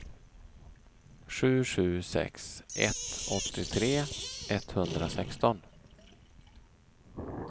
sju sju sex ett åttiotre etthundrasexton